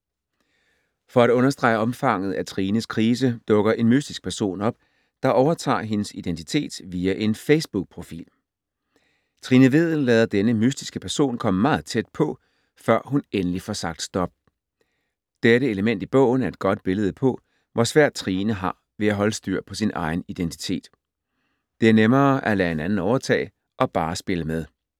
For at understrege omfanget af Trines krise, dukker en mystisk person op, der overtager hendes identitet via en facebookprofil. Trine Vedel lader denne mystiske person komme meget tæt på, før hun endelig får sagt stop. Dette element i bogen er et godt billede på, hvor svært Trine har ved at holde styr på sin egen identitet. Det er nemmere at lade en anden overtage og bare spille med.